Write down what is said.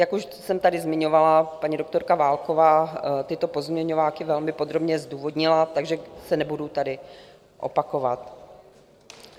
Jak už jsem tady zmiňovala, paní doktorka Válková tyto pozměňováky velmi podrobně zdůvodnila, takže se nebudu tady opakovat.